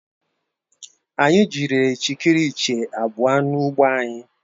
Anyị jidere ichikiriche abụọ n'ugbo anyị